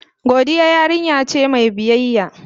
Godiya yarinya ce mai biyayya.